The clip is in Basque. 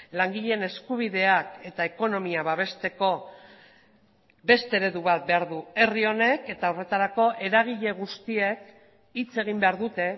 langileen eskubideak eta ekonomia babesteko beste eredu bat behar du herri honek eta horretarako eragile guztiek hitz egin behar dute